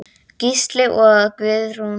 Gísli og Guðrún Björg.